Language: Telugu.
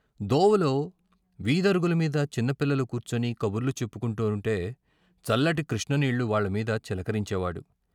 దోవలో వీధరుగుల మీద చిన్న పిల్లలు కూర్చుని కబుర్లు చెప్పు కుంటూంటే చల్లటి కృష్ణ నీళ్ళు వాళ్ళమీద చిలకరించేవాడు.